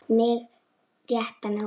Mig rétt rámar í hann.